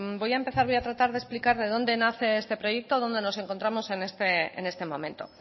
voy a tratar de explicar de dónde nace este proyecto dónde nos encontramos en este momento